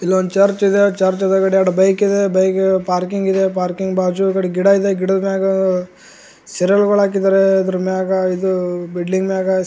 ಇಲ್ಲೊಂದ್ ಚರ್ಚ್ ಇದೆ ಚರ್ಚ್ ಬದಿಯಗ್ ಎರಡ್ ಬೈಕ್ ಇದೆ ಬೈಕ್ ಪಾರ್ಕಿಂಗ್ ಇದೆ ಪಾರ್ಕಿಂಗ್ ಬಾಜು ಗಿಡ ಇದೆ ಗಿಡದ್ ಮ್ಯಾಗ್ ಸರಲ್ ಹಾಕಿದ್ದಾರೆ ಅದ್ರ್ ಮ್ಯಾಗ್ ಇದು ಬಿಲ್ಡಿಂಗ್ ಮ್ಯಾಗ್ --